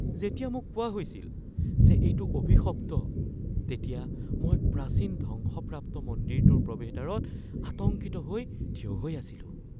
যেতিয়া মোক কোৱা হৈছিল যে এইটো অভিশপ্ত তেতিয়া মই প্ৰাচীন ধ্বংসপ্ৰাপ্ত মন্দিৰটোৰ প্ৰৱেশদ্বাৰত আতংকিত হৈ থিয় হৈ আছিলোঁ।